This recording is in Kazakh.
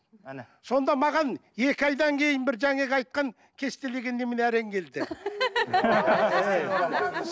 әне сонда маған екі айдан кейін бір жаңағы айтқан кестелеген немене әрең келді